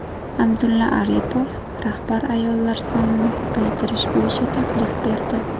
Abdulla Aripov rahbar ayollar sonini ko‘paytirish bo‘yicha taklif berdi.